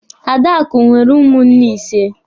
Adakụ nwere ụmụnne ịse.